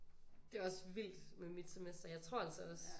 Det er også vildt med mit semester jeg tror altså også